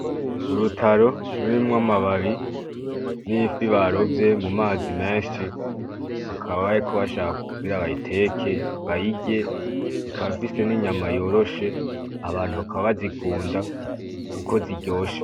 Urutaro rurimwo amababi n'ifi barovye mu mazi menshi bakaba bariko bashaka kubwira abayiteke bayige ikabafise n'inyama yoroshe abantu bakaba bazikunda uko ziryoshe.